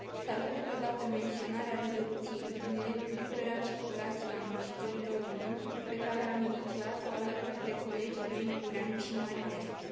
Salut totodată menționarea rezoluției privind libera circulație a muncitorilor români, pe care am inițiat o alături de colegii mei, Ungureanu și Marinescu.